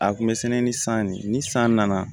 A kun bɛ sɛnɛ ni san ne ni san nana